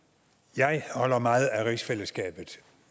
jeg holder meget af rigsfællesskabet